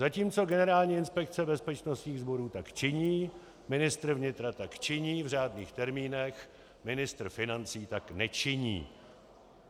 Zatímco Generální inspekce bezpečnostních sborů tak činí, ministr vnitra tak činí v řádných termínech, ministr financí tak nečiní.